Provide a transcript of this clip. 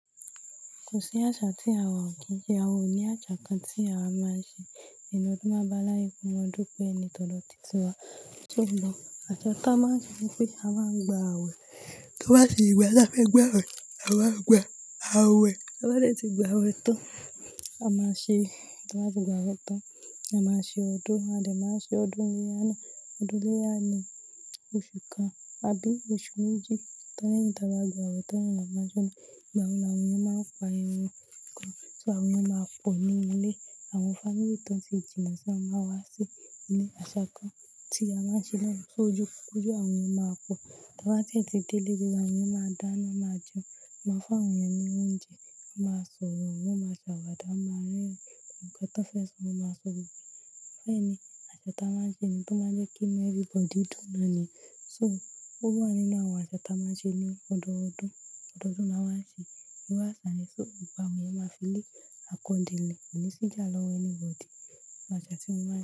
Kò sí àṣà tí àwa ò kí í dẹ. Àwa ò ní àṣà kan tí àwa máa ń ṣe eni ọdún baa bá láàyè ko mo dúpé ni todo titi wa. Àṣà táa máa ń ṣe ni pé a máa ń gba awẹ. Tí wọ́n bá sì gba, táa fẹ́ gba awẹ, àwa gba awẹ. Ta bá de tí gba awẹ tán, a máa ṣe, tí wọ́n bá ti gba awẹ tán, a máa ṣe ọdún. A de máa ṣe ọdún ileya ná, ọdún iléya ní, oṣù kan àbí oṣù méjì. Lẹ̀yin tí a bá gba awẹ tán ni wọ́n máa sóná. Ìgbà wo ni àwọn èèyàn máa ń pa irun kan, tí àwọn èèyàn máa pọ̀ nínú ilé. Àwọn family tán tí jìnà sá, wọ́n máa wá sí ilé. Àṣà kan tí a máa ń ṣe lẹ́nu fójú, fójú àwọn èèyàn máa pọ̀. Tí a bá tètè dé ilé tiwa, àwọn èèyàn máa dáná máa jẹun, máa fún àwọn èèyàn ní oúnjẹ, wọ́n máa sọ̀rọ̀, wọ́n máa ṣàwàdà, wọ́n máa rerin ohun kan tó fẹ́ sọ, wọ́n máa sọ òbí. Mo fẹ́ ni àṣà táa máa ń ṣe ni tó máa ń jẹ́ kínu everybody dùn ní. So ó wà nínú àwọn àṣà táa máa ń ṣe ní ọdọọdún. Ọdọọdún la máa n ṣe ìru àṣà yẹ̀. So ìgbà wo ni ẹ máa fi le a kan dele, kò ní sí ìjà lọ́wọ́ anybody. Àṣà tí mó maa.